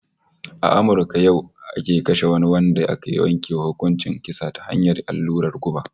A Amurka yau ake kashe wani wanda aka yanke wa hukuncin kisa ta hanyar allurar guba